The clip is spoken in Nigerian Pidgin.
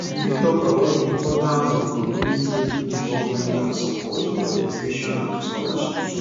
you fit talk about di importance of community involvement and support for education and scholarships